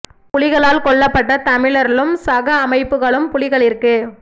புலிகளால் கொல்லப்பட்ட தமிழ்ர்ழும் சக அமைபுகழும் புலிகளிற்கு